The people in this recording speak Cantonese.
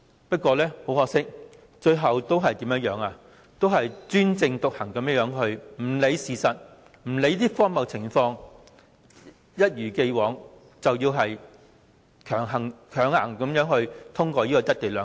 不過，很可惜，政府最後仍專政獨行，不理會事實和情況是如何的荒謬，一如既往，要強行通過"一地兩檢"。